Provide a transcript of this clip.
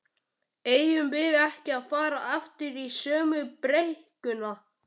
eigum við ekki að fara aftur í sömu brekkuna?